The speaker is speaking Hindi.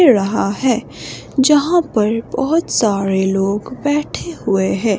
रहा है जहां पर बहुत सारे लोग बैठे हुए हैं।